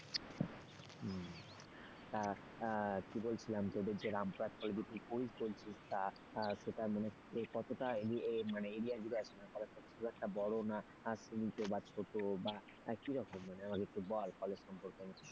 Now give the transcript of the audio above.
কি বলছিলাম তোদের যে রামপুরহাট কলেজের সেটা মানে কতটা মানে area জুড়ে আছে কলেজ খুব একটা বড় না ছোট বা কি রকম মানে আমাকে একটু বল কলেজ সম্পর্কে?